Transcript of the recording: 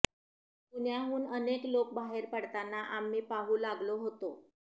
पुण्याहून अनेक लोक बाहेर पडताना आम्ही पाहू लागलो होतो